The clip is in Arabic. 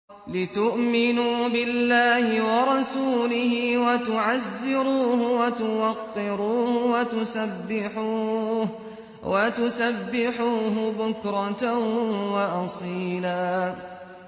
لِّتُؤْمِنُوا بِاللَّهِ وَرَسُولِهِ وَتُعَزِّرُوهُ وَتُوَقِّرُوهُ وَتُسَبِّحُوهُ بُكْرَةً وَأَصِيلًا